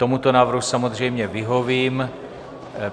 Tomuto návrhu samozřejmě vyhovím.